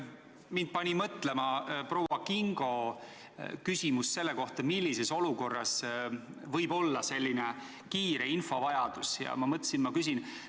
Mind pani mõtlema proua Kingo küsimus selle kohta, millises olukorras võib olla selline kiire infovajadus, ja ma mõtlesin, et ma küsin.